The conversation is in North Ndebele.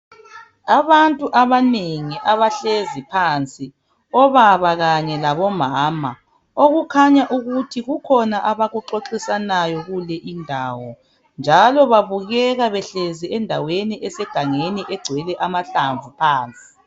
Abantu abanengi abahlezi phansi, obaba kanye labomama okukhanya ukuthi kukhona abakuxoxisanayo kule indawo njalo babukeka behlezi endaweni esegangeni egcwele amahlamvu phansi.